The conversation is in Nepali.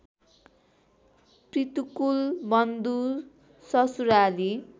पितृकुल बन्धु ससुराली